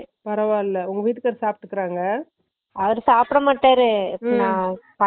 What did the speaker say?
பரவால்ல உங்க விட்டுராறாரு சாப்புடுகாறங்க